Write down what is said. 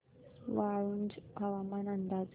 वाळूंज हवामान अंदाज